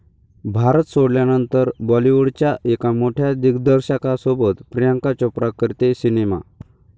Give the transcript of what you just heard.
भारत' सोडल्यानंतर बाॅलिवूडच्या एका मोठ्या दिग्दर्शकासोबत प्रियांका चोप्रा करतेय सिनेमा